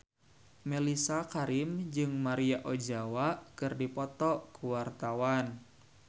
Mellisa Karim jeung Maria Ozawa keur dipoto ku wartawan